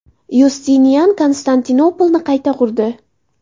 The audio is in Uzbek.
Yustinian Konstantinopolni qayta qurdi.